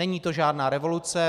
Není to žádná revoluce.